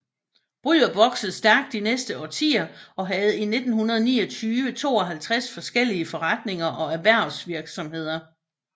Bryrup voksede stærkt de næste årtier og havde i 1929 52 forskellige forretninger og erhvervsvirksomheder